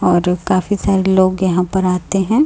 और काफी सारे लोग यहां पर आते हैं।